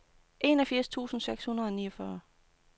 enogfirs tusind seks hundrede og niogfyrre